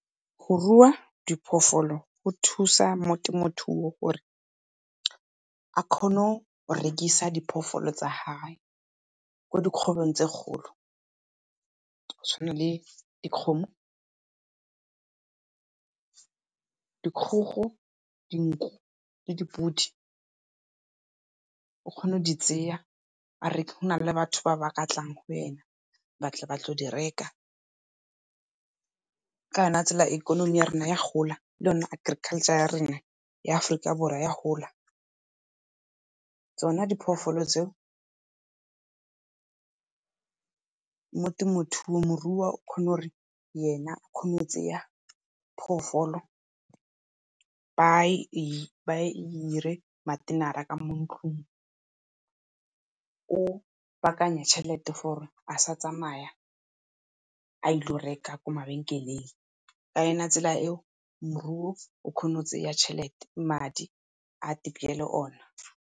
Go rua diphoofolo go thusa mo temothuo gore a kgone go rekisa diphoofolo tsa gae ko dikgwebong tse kgolo go tshwana le dikgomo dikgogo, dinku le dipodi. O kgona go di tseya na le batho ba ba ka tlang go yena ba tle ba tlo di reka. Kana tsela ikonomi ya rona ya gola lone agriculture ya rena ya Aforika Borwa ya gola. Tsona diphoofolo tseo mo temothuong morui o kgona gore yena o kgona go tseya phoofolo ba e dire . Ka mo ntlung o baakanya tšhelete for a sa tsamaya a ilo reka ko mabenkeleng, ka yona tsela e moruo o kgona go tse ya tšhelete madi a peele ona.